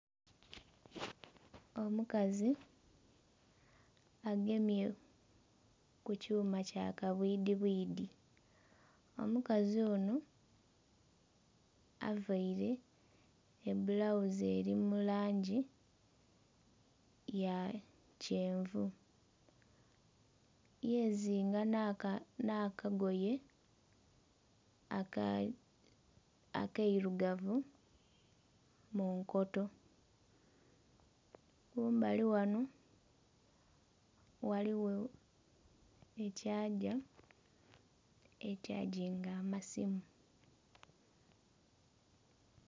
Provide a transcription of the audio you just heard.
Omukazi agemye ku kyuma kya kabwidhi bwidhi, omukazi onho avaire ebbulaghuzi eri mu langi ya kyenvu yeziinga nha akagoye akeirugavu munkoto, kumbali ghano ghaligho ekyaagya ekyagginga akasimu.